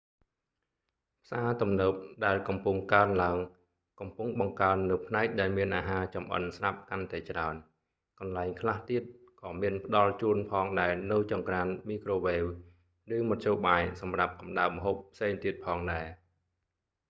ផ្សារទំនើបដែលកំពុងកើនឡើង កំពុងបង្កើននូវផ្នែកដែលមានអាហារចម្អិនស្រាប់កាន់តែច្រើន កន្លែងខ្លះទៀត ក៏មានផ្ដល់ជូនផងដែរនូវចង្ក្រានមីក្រូវ៉េវ ឬមធ្យោបាយសម្រាប់កម្ដៅម្ហូបផ្សេងទៀតផងដែរ